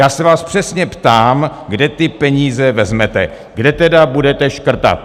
Já se vás přesně ptám, kde ty peníze vezmete, kde tedy budete škrtat?